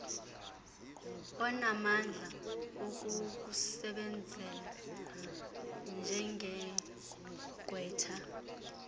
onamandla okukusebenzela njengegqwetha